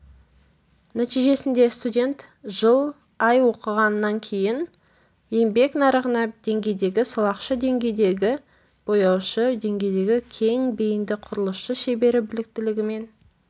нәтижесінде студент жыл ай оқығаннан кейін еңбек нарығына деңгейдегі сылақшы деңгейдегі бояушы деңгейдегі кең бейінді құрылысшы шебері біліктілігімен